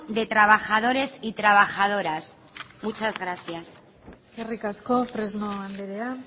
de trabajadores y trabajadoras muchas gracias eskerrik asko fresno andrea